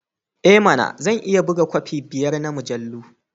I mana! Zan iya buga kofi biyar na mujallu.